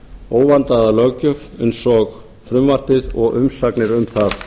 óvandaða löggjöf eins og frumvarpið og umsagnir um það